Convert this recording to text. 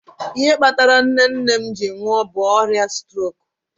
Ihe kpatara nne nne m ji nwuo bụ ọrịa strok